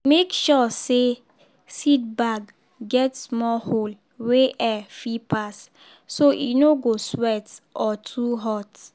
make sure say seed bag get small hole wey air fit pass so e no go sweat or too hot.